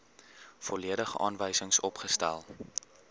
volledige aanwysings opgestel